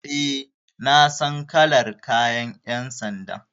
E, na san kalar kayan ƴan sanda.